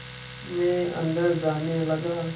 मैं अंदर जाने लगा